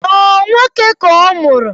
Ọ nwoke ka ọmụrụ?